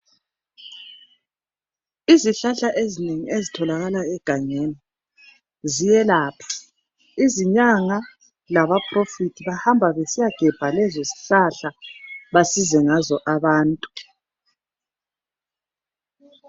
Izihlahla ezinengi ezitholakala egangeni ziyelapha izinyanga laba "prophet" bayahamba besiya gebha lezo zihlahla basize ngazo abantu.